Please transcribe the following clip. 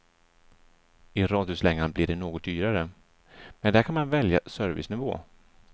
I radhuslängan blir det något dyrare, men där kan man välja servicenivå.